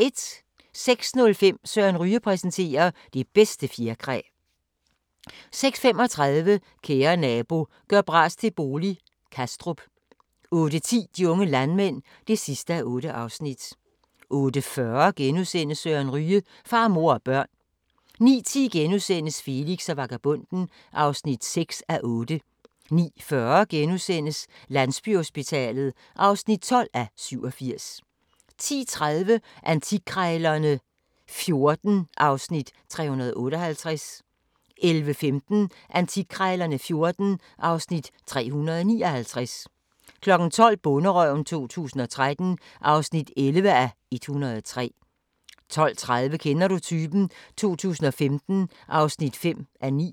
06:05: Søren Ryge præsenterer: Det bedste fjerkræ 06:35: Kære nabo – gør bras til bolig – Kastrup 08:10: De unge landmænd (8:8) 08:40: Søren Ryge: Far, mor og børn * 09:10: Felix og vagabonden (6:8)* 09:40: Landsbyhospitalet (12:87)* 10:30: Antikkrejlerne XIV (Afs. 358) 11:15: Antikkrejlerne XIV (Afs. 359) 12:00: Bonderøven 2013 (11:103) 12:30: Kender du typen? 2015 (5:9)